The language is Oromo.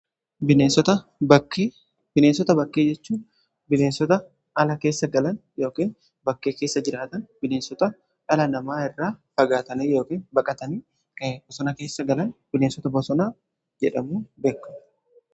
bineensota bakkee jechuu bineensota ala keessa galan yookiin bakkee keessa jiraatan bineensota ala namaa irra fagaatanii yookiin baqatanii kan bosona keessa galan bineensota bosona jedhamu beekamu.